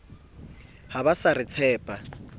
ha ba sa re tshepa